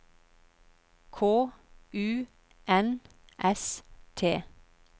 K U N S T